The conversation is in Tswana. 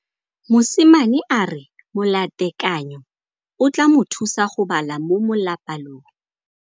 Mosimane a re molatekanyô o tla mo thusa go bala mo molapalong.